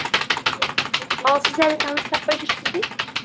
ал сіз әлі таныс таппай жүрсіз бе